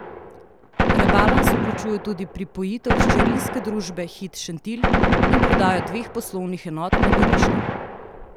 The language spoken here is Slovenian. Rebalans vključuje tudi pripojitev hčerinske družbe Hit Šentilj in prodajo dveh poslovnih enot na Goriškem.